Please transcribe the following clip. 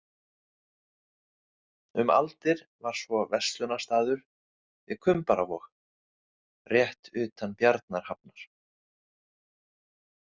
Um aldir var svo verslunarstaður við Kumbaravog, rétt utan Bjarnarhafnar.